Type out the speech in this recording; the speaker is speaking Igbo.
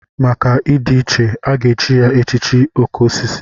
Maka ịdị iche, a ga-echi ya echichi oké osisi.